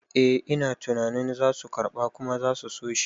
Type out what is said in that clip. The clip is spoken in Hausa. Eh ina tunanin zasu karɓa kuma zasu soshi